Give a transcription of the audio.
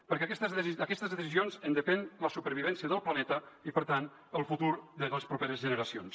perquè d’aquestes decisions en depèn la supervivència del planeta i per tant el futur de les properes generacions